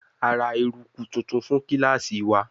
A ra eruku tuntun fun kilasi wa